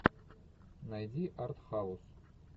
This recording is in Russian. найди артхаус